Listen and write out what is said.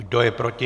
Kdo je proti?